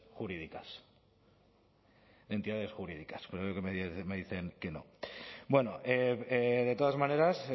jurídicas entidades jurídicas pero creo que me dicen que no bueno de todas maneras